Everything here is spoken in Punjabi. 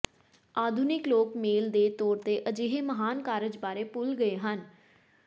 ਆਧੁਨਿਕ ਲੋਕ ਮੇਲ ਦੇ ਤੌਰ ਤੇ ਅਜਿਹੇ ਮਹਾਨ ਕਾਰਜ ਬਾਰੇ ਭੁੱਲ ਗਏ ਹਨ